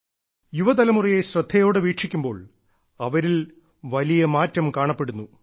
യുവതലമുറയെ ശ്രദ്ധയോടെ വീക്ഷിക്കുമ്പോൾ അവരിൽ വലിയ മാറ്റം കാണപ്പെടുന്നു